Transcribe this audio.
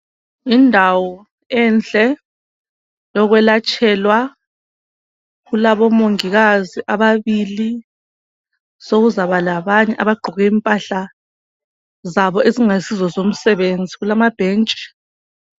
Indawo enhle yokwelatshelwa kulabomongikazi ababili sokuzaba labanye abagqoke impahla zabo ezingasizo zomsebenzi kulamabhentshi.